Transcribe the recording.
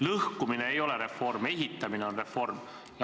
Lõhkumine ei ole reform, ehitamine on reform.